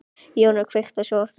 Jónar, kveiktu á sjónvarpinu.